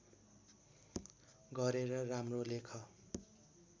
गरेर राम्रो लेख